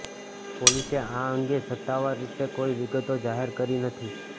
પોલીસે આ અંગે સત્તાવાર રીતે કોઈ વિગતો જાહેર કરી નથી